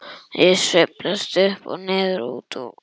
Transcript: Ég sveiflast upp og niður, út og suður.